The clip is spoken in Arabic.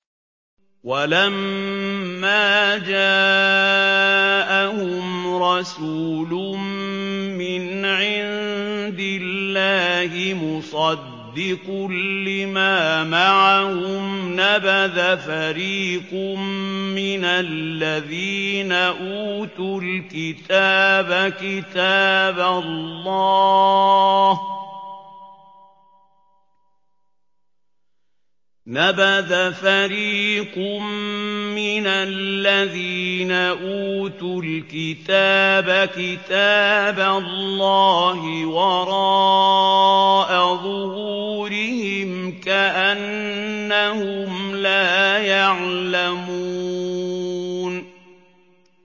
وَلَمَّا جَاءَهُمْ رَسُولٌ مِّنْ عِندِ اللَّهِ مُصَدِّقٌ لِّمَا مَعَهُمْ نَبَذَ فَرِيقٌ مِّنَ الَّذِينَ أُوتُوا الْكِتَابَ كِتَابَ اللَّهِ وَرَاءَ ظُهُورِهِمْ كَأَنَّهُمْ لَا يَعْلَمُونَ